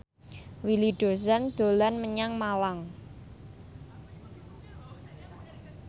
Willy Dozan dolan menyang Malang